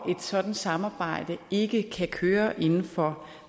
sådant samarbejde ikke kan køre inden for